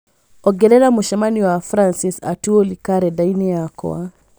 ongerera mũcemanio na Francis Atwoli karenda-inĩ yakwa